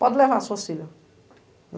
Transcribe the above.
Pode levar as suas filha.